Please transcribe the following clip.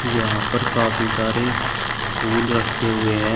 यहां पर काफी सारे फूल रखे हुए हैं।